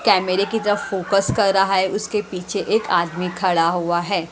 कैमेरे के जब फोकस कर रहा है उसके पीछे एक आदमी खड़ा हुआ है।